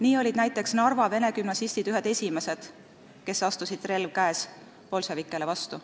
Nii olid näiteks Narva vene gümnasistid ühed esimestest, kes astusid, relv käes, bolševikele vastu.